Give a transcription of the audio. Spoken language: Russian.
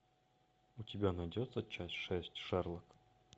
у тебя найдется часть шесть шерлок